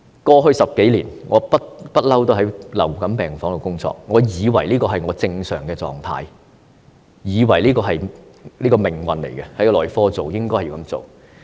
過去10多年，我一直都在流感病房內工作，我以為病房爆滿是正常的狀態，以為這是命運，在內科病房工作的情況便是這樣。